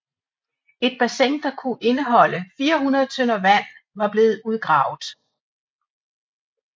Et bassin der kunne indeholde 400 tønder vand var blevet udgravet